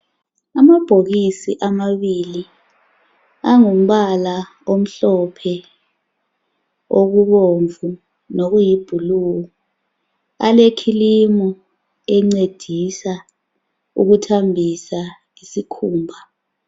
Amabhokisi amabili angumbala omhlophe, okubomvu lokuyiblue alecream encedisa ukuthambisa isikhumba.